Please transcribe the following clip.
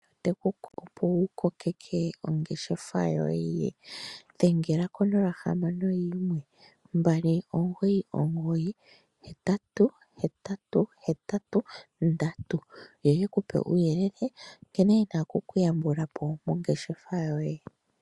Te ku kuku opo wu kokeke ongeshefa yoye dhengela ko 0612998883 yo yeku pe uuyelele nkene taye ku yambula po moongeshefa yoye.